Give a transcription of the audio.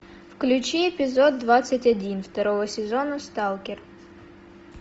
включи эпизод двадцать один второго сезона сталкер